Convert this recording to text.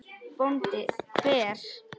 BÓNDI: Hver?